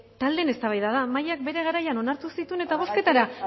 taldeen eztabaida da mahaiak bere garaian onartu zituen eta bozketara